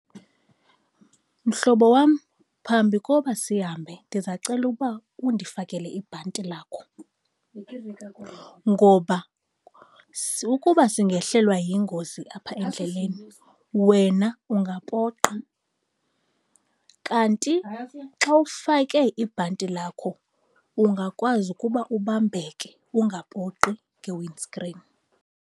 Mhlobo wam, phambi koba sihambe ndizacela ukuba undifakele ibhanti lakho, ngoba ukuba singehlelwa yingozi apha endleleni wena ungapoqa kanti xa ufake ibhanti lakho ungakwazi ukuba ubambeke ungapoqi nge-windscreen.